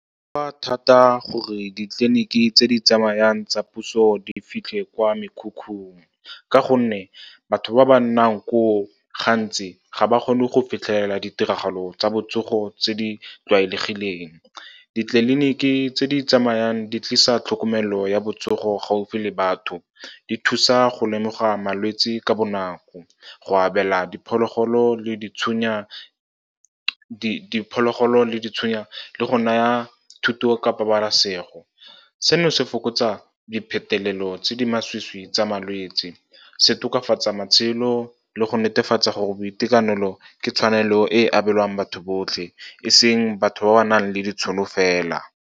A thata gore ditleliniki tse di tsamayang tsa puso di fitlhe kwa mekhukhung, ka gonne batho ba ba nnang koo gantsi ga ba kgone go fitlhelela ditiragalo tsa botsogo tse di tlwaelegileng. Ditleliniki tse di tsamayang di tlisa tlhokomelo ya botsogo gaufi le batho, di thusa go lemoga malwetse ka bonako, go abela diphologolo di tshwenya, le go naya thuto ka pabalasego. Seno se fokotsa diphetolelo tse di masisi tsa malwetse, se tokafatsa matshelo le go netefatsa gore boitekanelo ke tshwanelo e abelwang batho botlhe, e seng batho ba ba nang le ditšhono fela.